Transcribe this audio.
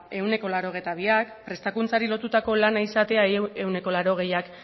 ehuneko laurogeita biak prestakuntzari lotutako lana izatea ehuneko laurogeiak